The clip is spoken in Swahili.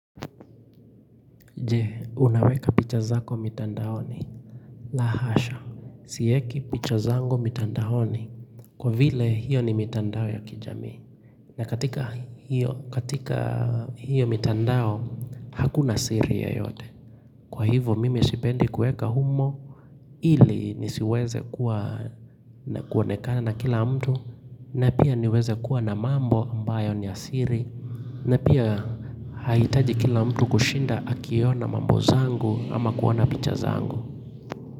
Je unaweka picha zako mitandaoni Lahasha Si eki picha zangu mitandaoni Kwa vile hiyo ni mitandao ya kijami na katika katika hiyo mitandao Hakuna siri yoyote Kwa hivyo mimi sipendi kuweka humo ili nisiweze kuwa kuonekana na kila mtu na pia niweze kuwa na mambo ambayo ni ya siri na pia hahitaji kila mtu kushinda akiona mambo zangu ama kuona picha zangu.